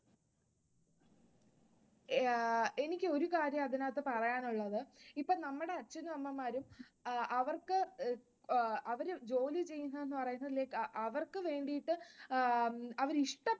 എനിക്ക് ഒരു കാര്യം അതിനകത്ത് പറയാനുള്ളത് ഇപ്പൊ നമ്മുടെ അച്ഛനും അമ്മമാരും അവർക്കു അവർ ജോലി ചെയ്യുന്നത് എന്ന് പറയുന്നത് അവർക്ക് വേണ്ടീട്ട് അവർ ഇഷ്ട